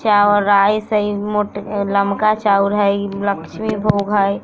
चावल राइस हई इ मोट लम्का चावल हई ये लक्ष्मी भोग हई।